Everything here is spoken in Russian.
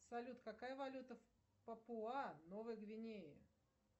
салют какая валюта в папуа новой гвинее